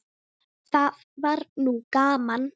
Það var nú gaman.